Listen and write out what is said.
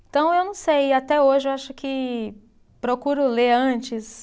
Então, eu não sei, até hoje eu acho que procuro ler antes.